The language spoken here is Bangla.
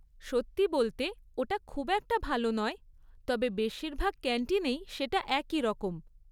সত্যি বলতে, ওটা খুব একটা ভালো নয়, তবে বেশিরভাগ ক্যান্টিনেই সেটা একইরকম।